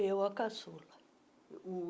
Eu, a caçula.